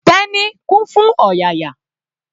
Teni kún fún ọ̀yàyà.